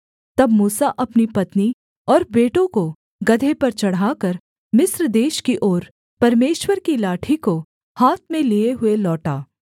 तब मूसा अपनी पत्नी और बेटों को गदहे पर चढ़ाकर मिस्र देश की ओर परमेश्वर की उस लाठी को हाथ में लिये हुए लौटा